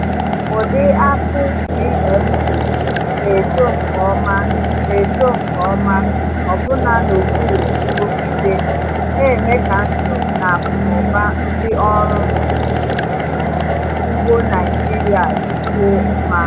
Ụdị akpụ GMO na-eto nke ọma na-eto nke ọma ọbụna n’okpuru nrụgide, na-eme ka ndụ na akụnụba ndị ọrụ ugbo Naijiria dịkwuo mma.